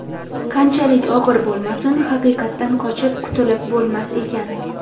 Qanchalik og‘ir bo‘lmasin, haqiqatdan qochib qutulib bo‘lmas ekan.